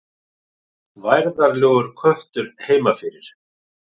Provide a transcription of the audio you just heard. Værðarlegur köttur heima fyrir.